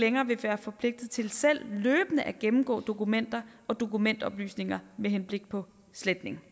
længere vil være forpligtet til selv løbende at gennemgå dokumenter og dokumentoplysninger med henblik på sletning